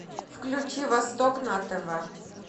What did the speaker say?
включи восток на тв